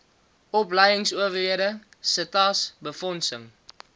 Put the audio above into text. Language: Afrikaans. opleingsowerhede setas befondsing